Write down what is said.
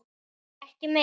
Æi, ekki meira!